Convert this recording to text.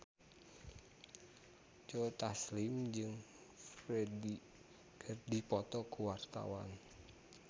Joe Taslim jeung Ferdge keur dipoto ku wartawan